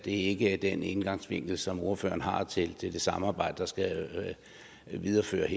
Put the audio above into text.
ikke er den indgangsvinkel som ordføreren har til det samarbejde der skal videreføres